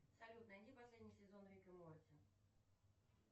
салют найди последний сезон рик и морти